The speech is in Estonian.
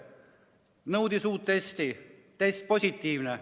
Ta nõudis uut testi – test positiivne.